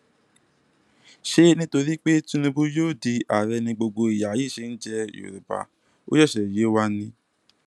ṣé nítorí pé tinúbù yóò di àárẹ ni gbogbo ìyà yí ṣe ń jẹ yorùbá ó ṣẹṣẹ yé wa ni